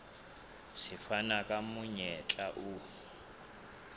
se fana ka monyetla o